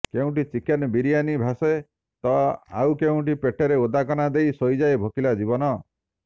କେଉଁଠି ଚିକେନ୍ ବିରିୟାନୀ ଭାସେ ତ ଆଉ କେଉଁଠ ପେଟରେ ଓଦା କନା ଦେଇ ଶୋଇଯାଏ ଭୋକିଲା ଜୀବନ